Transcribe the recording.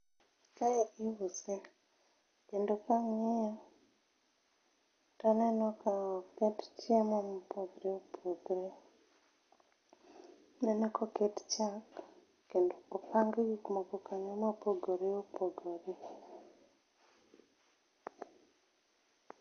Kae iuse kendo kang'iye taneno ka oket chiemo mopogore opogore. Aneno ka oket chak kendo opang gik moko kanyo ma opogore opogore